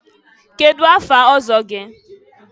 kedụ afa ọzọ gị?